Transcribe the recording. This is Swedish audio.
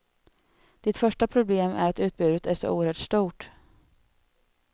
Ditt första problem är att utbudet är så oerhört stort.